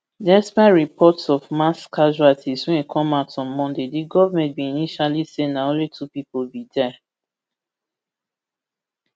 despite reports of mass casualties wey come out on monday di government bin initially say na only two pipo bin die